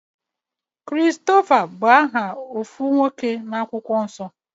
Christopher bú aha otú nwoke na-akwukwo nsọ.